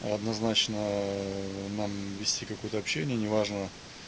однозначно надо надо вести какое-то общение неважно